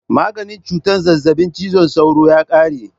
Maganin cutar zazzabin cizon sauro ya kare.